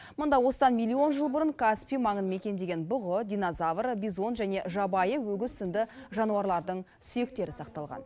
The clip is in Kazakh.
мұнда осыдан миллион жыл бұрын каспий маңын мекендеген бұғы динозавр бизон және жабайы өгіз сынды жануарлардың сүйектері сақталған